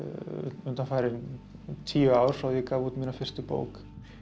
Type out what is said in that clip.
undanfarin tíu ár frá ég gaf út mína fyrstu bók